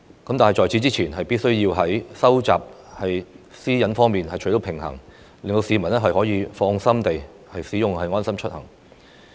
不過，政府此前必須在保障私隱方面取得平衡，讓市民可以放心地使用"安心出行"流動應用程式。